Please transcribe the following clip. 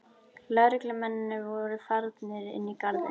Lögreglumennirnir voru farnir inn í garðinn.